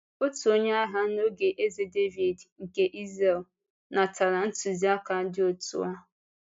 Òtù onye agha n’oge Eze Dàvíd nke Ìzrel nátara ntùziaka dị otu a.